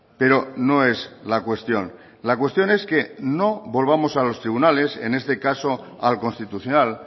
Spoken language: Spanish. pero no es la cuestión la cuestión es que no volvamos a los tribunales en este caso al constitucional